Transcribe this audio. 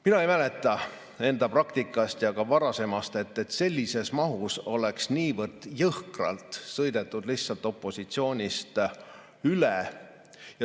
Mina ei mäleta enda praktikast ega varasemast, et sellises mahus oleks niivõrd jõhkralt opositsioonist lihtsalt üle sõidetud.